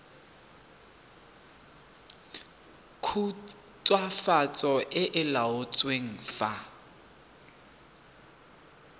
khutswafatso e e laotsweng fa